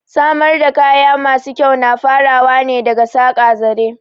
Samar da kaya masu kyau na farawa ne daga saƙa zare